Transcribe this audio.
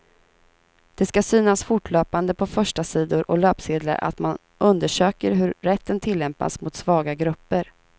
Det ska synas fortlöpande på förstasidor och löpsedlar att man undersöker hur rätten tillämpas mot svaga grupper.